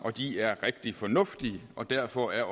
de er rigtig fornuftige og derfor er